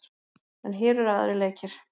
En hér eru aðrir leikir.